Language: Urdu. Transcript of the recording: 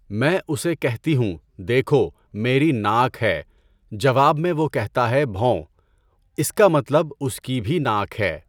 میں اسے کہتی ہوں، دیکھو، میری ناک ہے۔ جواب میں وہ کہتا ہے، بھوں۔ اس کا مطلب اس کی بھی ناک ہے۔